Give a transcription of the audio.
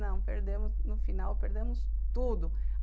Não, perdemos no final, perdemos tudo.